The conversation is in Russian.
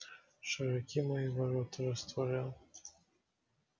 широки мои ворота растворял